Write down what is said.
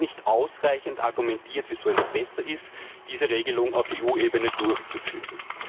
Es wird also nicht ausreichend argumentiert, wieso es besser ist, diese Regelung auf EU Ebene durchzuführen.